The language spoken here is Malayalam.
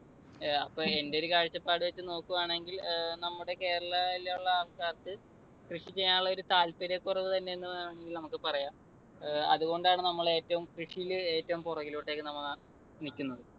ഏർ അപ്പൊ എന്റെയൊരു കാഴ്ചപ്പാട് വെച്ച് നോക്കുവാണെങ്കിൽ അഹ് നമ്മുടെ കേരളയിലുള്ള ആൾക്കാർക്ക് കൃഷി ചെയ്യാനുള്ള ഒരു താല്പര്യക്കുറവ് തന്നെ എന്ന് വേണമെങ്കിൽ നമുക്ക് പറയാം. അതുകൊണ്ടാണ് നമ്മൾ, ഏറ്റവും, കൃഷിയിൽ ഏറ്റവും പുറകിലോട്ടേക്ക് നമ്മൾ നിൽക്കുന്നത്.